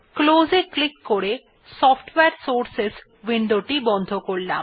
Close এ click করে সফটওয়ারে সোর্সেস উইন্ডোটি বন্ধ করলাম